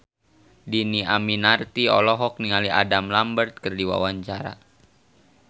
Dhini Aminarti olohok ningali Adam Lambert keur diwawancara